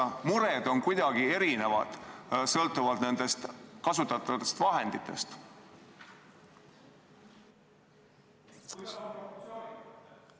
Kas mured on kuidagi erinevad sõltuvalt nendest kasutatavatest vahenditest?